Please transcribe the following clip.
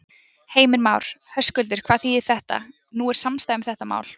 Heimir Már: Höskuldur, hvað þýðir þetta, nú er samstaða um þetta mál?